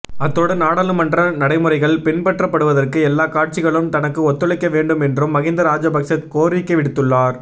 அத்தோடு நாடாளுமன்ற நடைமுறைகள் பின்பற்றப்படுவதற்கு எல்லாக் கட்சிகளும் தனக்கு ஒத்துழைக்க வேண்டும் என்றும் மஹிந்த ராஜபக்ச கோரிக்கைவிடுத்துள்ளார்